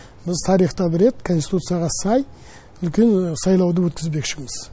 біз тарихта бір рет конституцияға сай үлкен сайлауды өткізбекшіміз